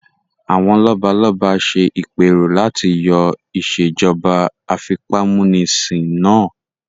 Àwọn lọ́balọ́ba ṣe ìpẹ́rò láti yọ ìsèjọba àfipámúnisin náà